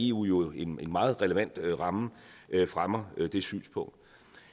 eu jo en meget relevant ramme fremmer det synspunkt